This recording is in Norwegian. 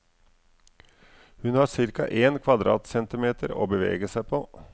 Hun har cirka en kvadratcentimeter å bevege seg på.